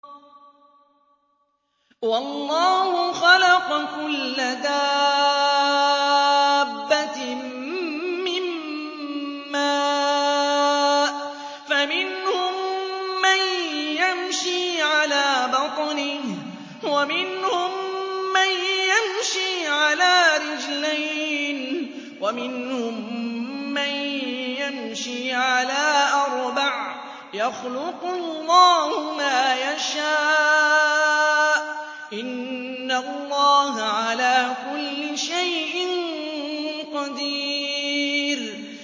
وَاللَّهُ خَلَقَ كُلَّ دَابَّةٍ مِّن مَّاءٍ ۖ فَمِنْهُم مَّن يَمْشِي عَلَىٰ بَطْنِهِ وَمِنْهُم مَّن يَمْشِي عَلَىٰ رِجْلَيْنِ وَمِنْهُم مَّن يَمْشِي عَلَىٰ أَرْبَعٍ ۚ يَخْلُقُ اللَّهُ مَا يَشَاءُ ۚ إِنَّ اللَّهَ عَلَىٰ كُلِّ شَيْءٍ قَدِيرٌ